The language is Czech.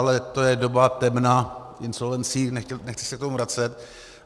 Ale to je doba temna insolvencí, nechci se k tomu vracet.